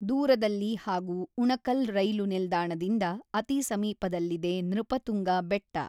ದೂರದಲ್ಲಿ ಹಾಗು ಉಣಕಲ್ ರೈಲು ನಿಲ್ದಾಣದಿಂದ ಅತಿ ಸಮೀಪದಲ್ಲಿದೆ ನೃಪತುಂಗ ಬೆಟ್ಟ.